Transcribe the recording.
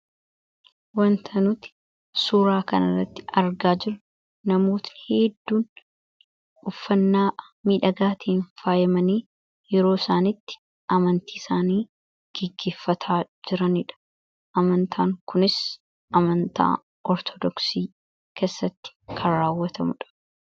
Wanta nuti suuraa kanarratti argaa jira namootni hedduun uffannaa midhagaatiin faayamanii yeroo isaani amantii isaanii gaggeffataa jiraniidha. Amantaan kunis amantaa Ortodoksii keessatti kan raawwatamuudha.